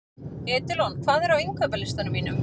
Edilon, hvað er á innkaupalistanum mínum?